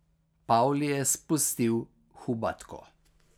Pavli je spustil Hubatko.